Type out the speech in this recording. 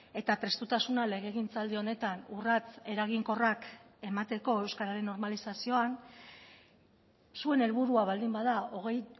eta prestutasuna legegintzaldi honetan urrats eraginkorrak emateko euskararen normalizazioan zuen helburua baldin bada hogei